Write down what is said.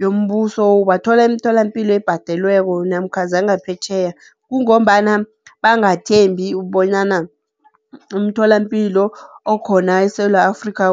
yoMbuso, ubathola emtholampilo ebhadelwako namkha zangaphetjheya, kungombana bangathembi bonyana umtholampilo okhona eSewula Afrika